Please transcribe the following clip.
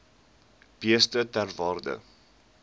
beeste ter waarde